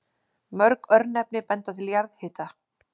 Mörg örnefni benda til jarðhita.